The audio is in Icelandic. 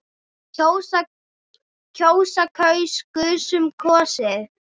kjósa- kaus- kusum- kosið